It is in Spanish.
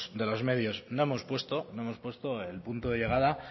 de los medios no hemos puesto el punto de llegada